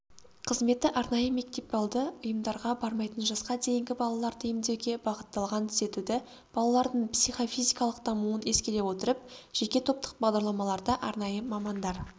қызметі арнайы мектепалды ұйымдарға бармайтын жасқа дейінгі балаларды емдеуге бағытталған түзетуді балалардың психофизикалық дамуын ескере отырып жеке топтық бағдарламаларда арнайы мамандар